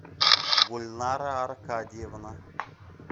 гульнара аркадьевна